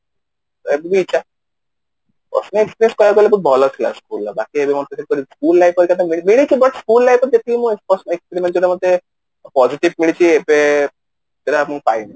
ଏବେ ବି ଇଚ୍ଛା personal experience କରିବାକୁ ହେଲେ school life ଟା ତ ଖାଲି ମିଳିଯିବ ନି ବାସ school life ରେ ଯେତିକି ମତେ personal experience ମିଳିଛି ସେଇଟା ମତେ positive ମିଳିଛି ଏବେ ହେରା ମୁଁ ଟାଇମ